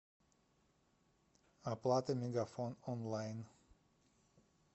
оплата мегафон онлайн